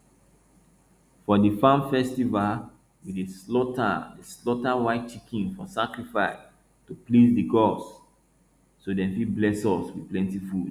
for di farm festival we dey slaughter dey slaughter white chicken for sacrifice to please di gods so dem fit bless us with plenti food